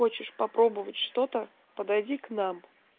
хочешь попробовать что-то подойди к нам